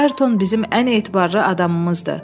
Ayrton bizim ən etibarlı adamımızdır.